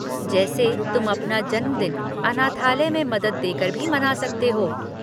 जैसे तुम अपना जन्मदिन अनाथालय में मदद देकर भी मना सकते हो।